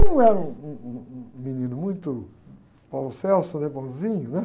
Como eu era um, um, um, um menino muito, né, bonzinho, né?